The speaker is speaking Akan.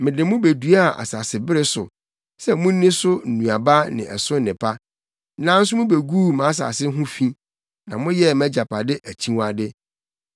Mede mo beduaa asasebere so sɛ munni so nnuaba ne ɛso nnepa. Nanso mubeguu mʼasase ho fi, na moyɛɛ mʼagyapade akyiwade.